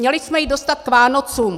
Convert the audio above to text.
Měli jsme ji dostat k Vánocům.